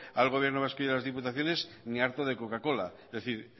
al gobierno vasco y a las diputaciones ni harto de coca cola es decir